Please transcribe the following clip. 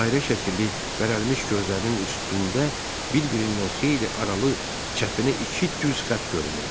Dairə şəkilli bərəlmiş gözlərinin üstündə bir-birindən xeyli aralı, çəpini iki düz xətt görünürdü.